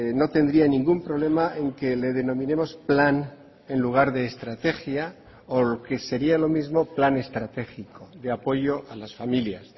no tendría ningún problema en que le denominemos plan en lugar de estrategia o lo que sería lo mismo plan estratégico de apoyo a las familias